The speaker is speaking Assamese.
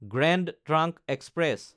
grand trunk express